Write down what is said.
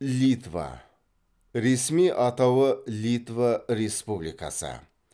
литва ресми атауы литва республикасы